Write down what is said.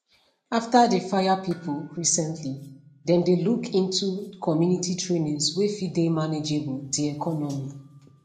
after di fire pipu recently dem dey look into community trainings wey fit dey manageable di economy